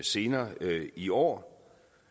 senere i år